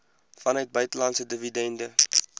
vanuit buitelandse dividende